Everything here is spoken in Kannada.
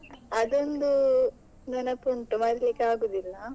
ಅದೊಂದು ನೆನಪುಂಟು ಮರಿಲಿಕ್ಕೆ ಆಗುದಿಲ್ಲ.